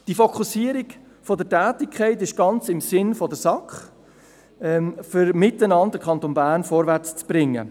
Diese Fokussierung der Tätigkeit liegt ganz im Sinne der SAK, um gemeinsam den Kanton Bern vorwärtszubringen.